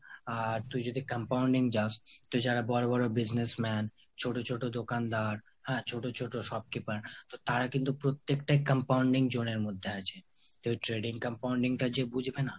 আর তুই যদি compounding যাস তো যারা বড়ো বড়ো businessman ছোট ছোট দোকানদার আর ছোট ছোট shopkeeper তো তারা কিন্তু প্রত্যেকটাই compounding zone এর মধ্যে আছে। তোর trading compounding টা যে বুঝবে না,